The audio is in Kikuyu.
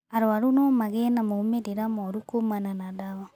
Arũaru no magĩe na maumĩrĩra moru kuumana na ndawa